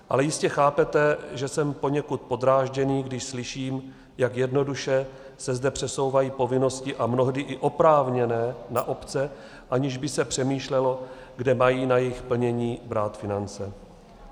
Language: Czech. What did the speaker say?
Ale jistě chápete, že jsem poněkud podrážděný, když slyším, jak jednoduše se zde přesouvají povinnosti - a mnohdy i oprávněné - na obce, aniž by se přemýšlelo, kde mají na jejich plnění brát finance.